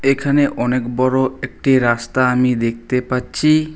এখানে অনেক বড় একটি রাস্তা আমি দেখতে পাচ্ছি।